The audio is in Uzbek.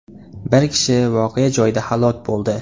Bir kishi voqea joyida halok bo‘ldi.